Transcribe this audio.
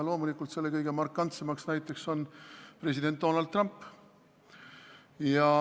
Loomulikult on kõige markantsem näide president Donald Trump.